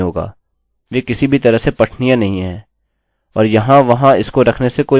और देखें आपने अपना पासवर्ड टाइप कर दिया है लेकिन हो सकता है इससे लोग आपके अकाउंट का उपयोग कर सकते है